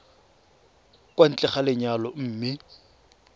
kwa ntle ga lenyalo mme